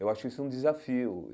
Eu acho isso um desafio.